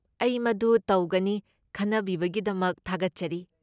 ꯑꯩ ꯃꯗꯨ ꯇꯧꯒꯅꯤ, ꯈꯟꯅꯕꯤꯕꯒꯤꯗꯃꯛ ꯊꯥꯒꯠꯆꯔꯤ!